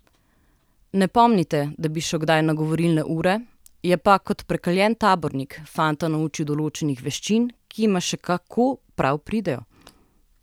Ne pomnite, da bi šel kdaj na govorilne ure, je pa, kot prekaljen tabornik, fanta naučil določenih veščin, ki jima še kako prav pridejo.